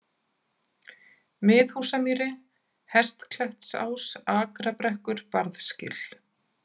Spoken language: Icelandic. Miðhúsamýri, Hestklettsás, Akrabrekkur, Barðsgil